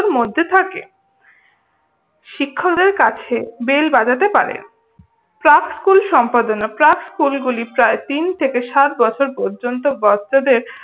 মধ্যে থাকে। শিক্ষকদের কাছে বেল বাজাতে পারে। প্রাক স্কুল সম্পাদনা। প্রাক স্কুলগুলি তিন থেকে সাত বছর পর্যন্ত বাচ্চাদের